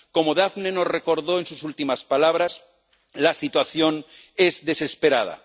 Como Daphne nos recordó en sus últimas palabras, la situación es desesperada.